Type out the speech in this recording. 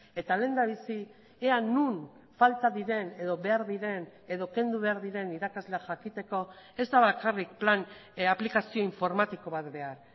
eta lehendabizi ea non falta diren edo behar diren edo kendu behar diren irakasle jakiteko ez da bakarrik plan aplikazio informatiko bat behar